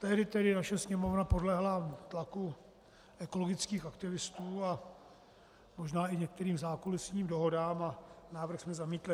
Tehdy tedy naše Sněmovna podlehla tlaku ekologických aktivistů a možná i některým zákulisním dohodám a návrh jsme zamítli.